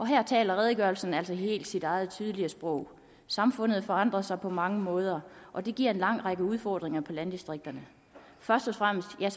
her taler redegørelsen altså sit eget tydelige sprog samfundet forandrer sig på mange måder og det giver en lang række udfordringer i landdistrikterne først og fremmest er